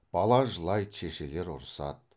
бала жылайды шешелер ұрысады